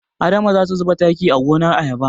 Adama za ta zuba taki a gonar ayaba.